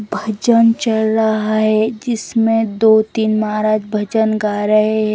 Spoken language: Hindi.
भजन चल रहा है जिसमे दो तीन महाराज भजन गा रहे है।